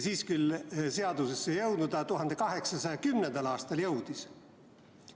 Siis see küll veel seadusesse ei jõudnud, aga 1810. aastal jõudis.